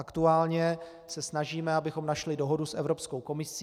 Aktuálně se snažíme, abychom našli dohodu s Evropskou komisí.